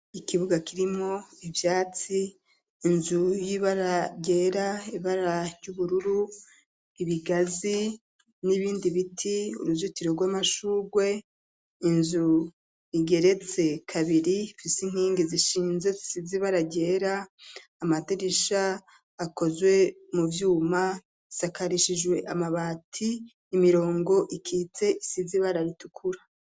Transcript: Ikibuga kirimwo ivyatsi inzu y'ibara ryera, ibara ry'ubururu, ibigazi n'ibindi biti, uruzitiro rw'amashurwe inzu igeretse kabiri ifise inkingi zishinze zisize ibara ryera amadirisha akozwe mu vyuma, isakarishijwe amabati, imirongo ikitse isize ibara ritukura.